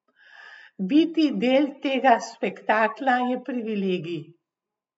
Biti del tega spektakla je privilegij.